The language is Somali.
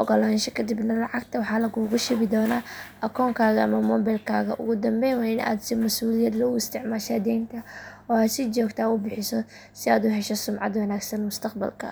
oggolaansho kadibna lacagta waxaa laguugu shubi doonaa akoonkaaga ama mobilkaaga ugu dambeyn waa in aad si masuuliyad leh u isticmaashaa deynta oo aad si joogto ah u bixisaa si aad u hesho sumcad wanaagsan mustaqbalka.